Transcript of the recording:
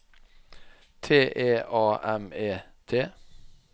T E A M E T